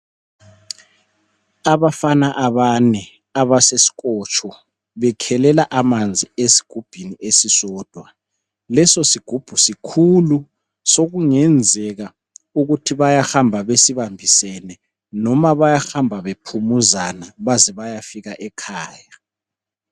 Abafana abane abaseskotsho bekhelela amanzi esigubhini esisodwa , leso sigubhu sikhulu sokungenzeka ukuthi bayahamba besibambisene noma bayahamba bephumuzana baze bayefika ekhaya